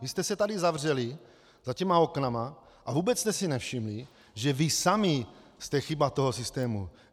Vy jste se tady zavřeli za těmi okny a vůbec jste si nevšimli, že vy sami jste chyba toho systému.